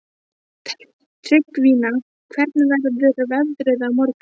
Tryggvína, hvernig verður veðrið á morgun?